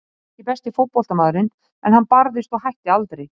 Hann var ekki besti fótboltamaðurinn en hann barðist og hætti aldrei.